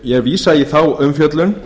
ég vísa í þá umfjöllun